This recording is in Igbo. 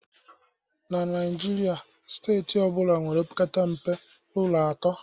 na Naijiria, steeti ọ bụla nwere opekata mpe ụlọ atọ